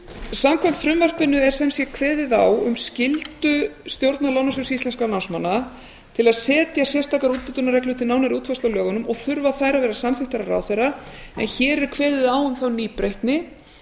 samkvæmt frumvarpinu er sem sé kveðið á um skyldu stjórnar lánasjóðs íslenskra námsmanna til að setja sérstakar úthlutunarreglur til nánari útfærslu á lögunum og þurfa þær að vera samþykktar af ráðherra en hér er kveðið á um þá nýbreytni